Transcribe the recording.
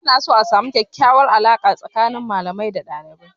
Ana so a samu kyakyawar alaƙa tsakanin malamai da dalibai.